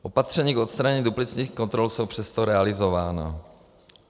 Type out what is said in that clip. Opatření k odstranění duplicitních kontrol jsou přesto realizována.